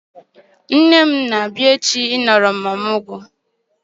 Nne m na-abia echi I nọrọ m ọmụgwọ